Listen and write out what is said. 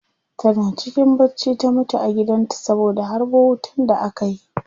Tana cikin bacci ta mutu a gidan ta saboda harbo wutan da aka yi